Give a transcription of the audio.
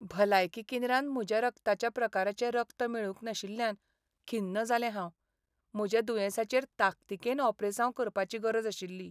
भलायकी केंद्रांत म्हज्या रक्ताच्या प्रकाराचें रगत मेळूंक नाशिल्ल्यान खिन्न जाल्लें हांव. म्हज्या दुयेंसाचेर ताकतिकेन ओपेरासांव करपाची गरज आशिल्ली.